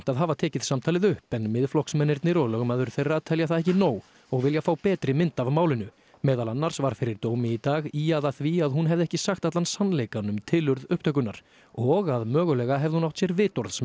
að hafa tekið samtalið upp en Miðflokksmennirnir og lögmaður þeirra telja það ekki nóg og vilja fá betri mynd af málinu meðal annars var fyrir dómi í dag ýjað að því að hún hefði ekki sagt allan sannleikann um tilurð upptökunnar og að mögulega hefði hún átt sér